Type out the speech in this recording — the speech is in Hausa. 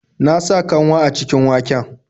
Na sa kanwa a cikin waken.